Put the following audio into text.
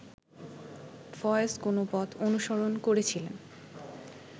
ফয়েজ কোন পথ অনুসরণ করেছিলেন